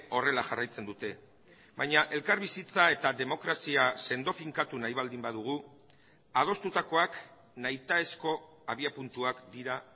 horrela jarraitzen dute baina elkarbizitza eta demokrazia sendo finkatu nahi baldin badugu adostutakoak nahitaezko abiapuntuak dira